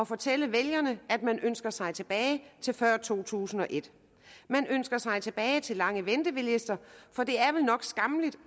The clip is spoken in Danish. fortælle vælgerne at man ønsker sig tilbage til før to tusind og et man ønsker sig tilbage til lange ventelister for det er vel nok skammeligt